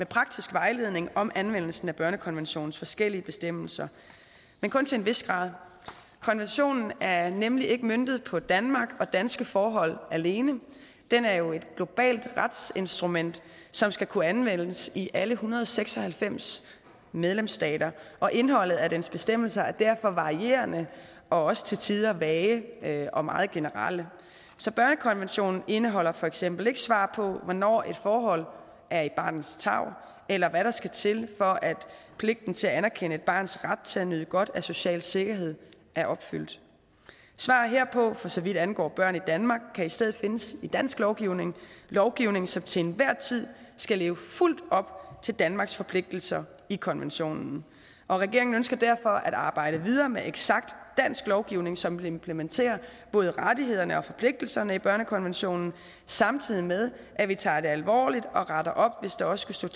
praktisk vejledning om anvendelsen af børnekonventionens forskellige bestemmelser men kun til en vis grad konventionen er nemlig ikke møntet på danmark og danske forhold alene den er jo et globalt retsinstrument som skal kunne anvendes i alle en hundrede og seks og halvfems medlemsstater og indholdet af dens bestemmelser er derfor varierende og også til tider vage og meget generelle så børnekonventionen indeholder for eksempel ikke svar på hvornår et forhold er i barnets tarv eller hvad der skal til for at pligten til at anerkende et barns ret til at nyde godt af social sikkerhed er opfyldt svar herpå for så vidt angår børn i danmark kan i stedet findes i dansk lovgivning lovgivning som til enhver tid skal leve fuldt op til danmarks forpligtelser i konventionen regeringen ønsker derfor at arbejde videre med eksakt dansk lovgivning som implementerer både rettighederne og forpligtelserne i børnekonventionen samtidig med at vi tager det alvorligt og retter op hvis der også